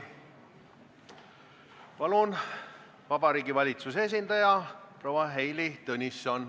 Palun, Vabariigi Valitsuse esindaja proua Heili Tõnisson!